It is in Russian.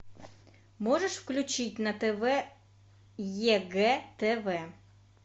можешь включить на тв егэ тв